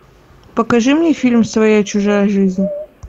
покажи мне фильм своя чужая жизнь